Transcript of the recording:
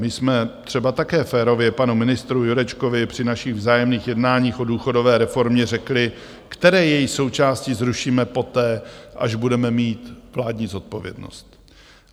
My jsme třeba také férově panu ministru Jurečkovi při našich vzájemných jednáních o důchodové reformě řekli, které její součásti zrušíme poté, až budeme mít vládní zodpovědnost.